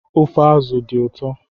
Ofe azụ dị ụtọ